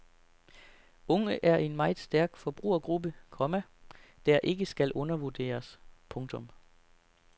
Unge er en meget stærk forbrugergruppe, komma der ikke skal undervurderes. punktum